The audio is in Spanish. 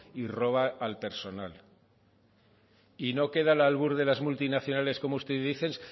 y roba al personal y no queda al albur de las multinacionales como usted dice